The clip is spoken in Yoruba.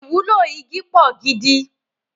Ìwúlò igi pò gidi